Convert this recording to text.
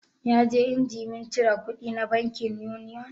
Ya je injimin cire kudi na bankin Union